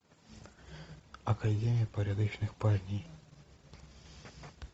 академия порядочных парней